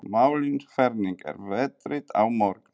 Malín, hvernig er veðrið á morgun?